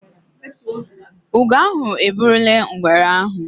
Ugo ahụ eburule ngwere ahụ